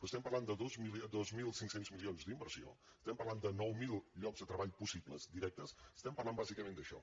estem parlant de dos mil cinc cents milions d’inversió estem parlant de nou mil llocs de treball possibles directes estem parlant bàsicament d’això